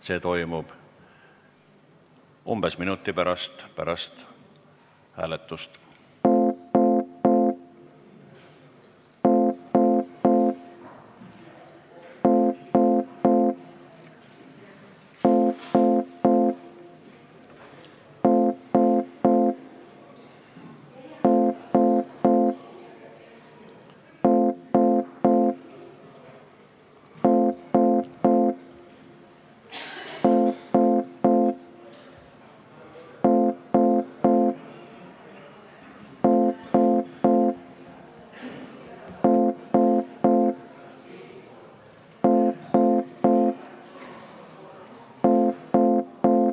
See toimub umbes minuti pärast peale hääletust.